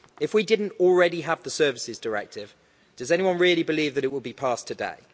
If we didn't already have the Services Directive, does anyone really believe that it would be passed today?